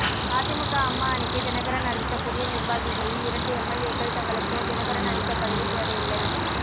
அதிமுக அம்மா அணிக்கு தினகரன் அறிவித்த புதிய நிர்வாகிகளில் இரண்டு எம்எல்ஏக்கள் தங்களுக்கு தினகரன் அளித்த பதவி தேவையில்லை